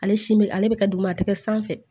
Ale si bɛ ale bɛ ka duguma a tɛ kɛ sanfɛ